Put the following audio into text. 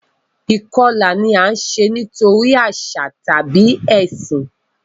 Ìkọlà ni a ṣe nitori aṣa tabi ẹsin.